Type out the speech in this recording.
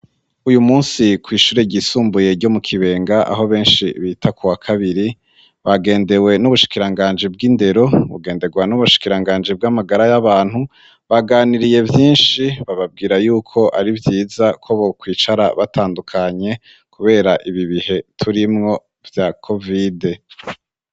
uyu munsi kw' ishure ryisumbuye ryo mu kibenga aho benshi bita ku wa kabiri bagendewe n'ubushikiranganji bw'indero bugendegwa n'ubushikiranganji bw'amagara y'abantu baganiriye vyinshi bababwira yuko ari vyiza ko bo kwicara batandukanye kubera ibi bihe turimwo vya covide